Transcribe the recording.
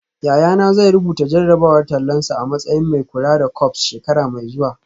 Yayana zai rubuta jarrabawar tallansa a matsayin mai kula da corps shekara mai zuwa